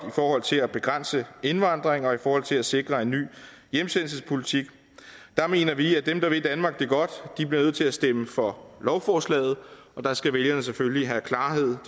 forhold til at begrænse indvandring og i forhold til at sikre en ny hjemsendelsespolitik mener vi at dem der vil danmark det godt bliver nødt til at stemme for lovforslaget og der skal vælgerne selvfølgelig have klarhed